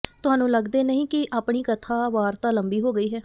ਤੁਹਾਨੂੰ ਲਗਦੇ ਨਹੀਂ ਕਿ ਆਪਣੀ ਕਥਾ ਵਾਰਤਾ ਲੰਬੀ ਹੋ ਗਈ ਹੈ